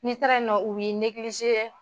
N’i taara ye nɔn u bi